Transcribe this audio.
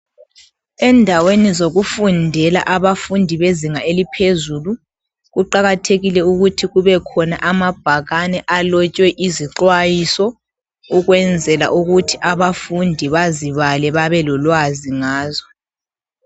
Endaweni zokufundela abafundi bezinga eliphezulu kuqakathekile ukuthi kube khona lamabhakane alotshwe izixwayiso ukwenzela ukuthi abafundi bazibale babelolwazi ngazo.